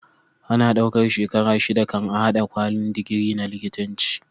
Ana ɗaukar shekara shida kan a hada kwalin digiri na likitanci